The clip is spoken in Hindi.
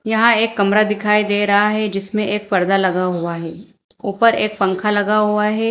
यहां एक कमरा दिखाई दे रहा है जिसमें एक पर्दा लगा हुआ है ऊपर एक पंखा लगा हुआ है।